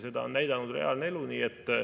Seda on näidanud reaalne elu.